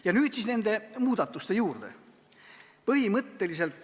Ja nüüd siis muudatuste juurde.